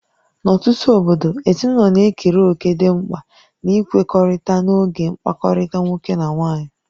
N'ọtụtụ obodo, ezinụlọ na-ekere òkè dị mkpa n'ikwekọrịta n'oge mkpakọrịta nwoke na nwaanyị